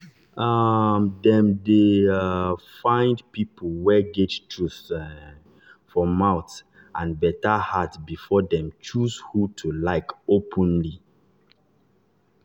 um dem dey um find people wey get truth um for mouth and better heart before dem choose who to like openly.